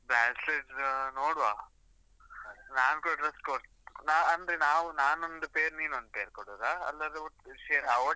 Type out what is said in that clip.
Bracelet ನೋಡುವಾ, ನಾನು ಕೂಡ dress code ನಾ ನಾನು ಅಂದ್ರೆ ನಾವ್ ನಾನ್ ಒಂದ್ pair , ನೀನ್ ಒಂದ್ pair ಕೊಡುದಾ? ಅಲ್ಲಾಂದ್ರೆ ಒಟ್ಟು share.